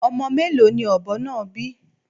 Ọmọ mélòó ni ọ̀bọ náà bí?